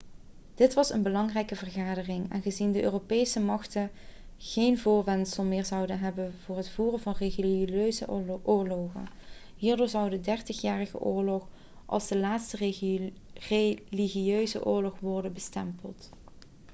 dit was een belangrijke verandering aangezien de europese machten geen voorwendsel meer zouden hebben voor het voeren van religieuze oorlogen hierdoor zou de dertigjarige oorlog als de laatste religieuze oorlog kunnen worden bestempeld